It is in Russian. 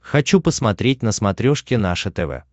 хочу посмотреть на смотрешке наше тв